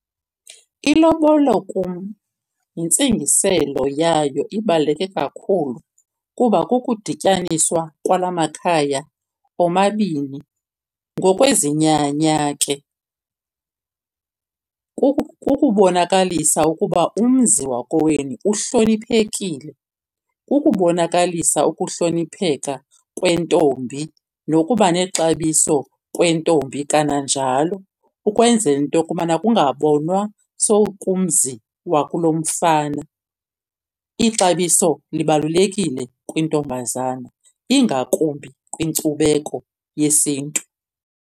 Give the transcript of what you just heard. Ilobolo kum yintsingiselo yayo ibaluleke kakhulu kuba kukudityaniswa kwala makhaya omabini. Ngokwezinyanya ke kukubonakalisa ukuba umzi wakowenu uhloniphekile. Kukubonakalisa ukuhlonipheka kwentombi nokuba nexabiso kwentombi kananjalo, ukwenzela into yokubana kungabonwa sowukumzi wakulomfana. Ixabiso libalulekile kwintombazana, ingakumbi kwinkcubeko yesiNtu.